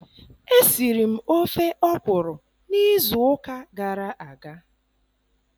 Esiri m ofe ọkwụrụ n'izu ụka gara aga.